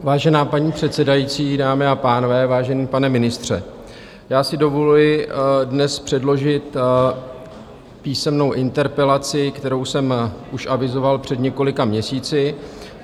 Vážená paní předsedající, dámy a pánové, vážený pane ministře, já si dovoluji dnes předložit písemnou interpelaci, kterou jsem už avizoval před několika měsíci.